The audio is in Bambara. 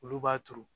Olu b'a turu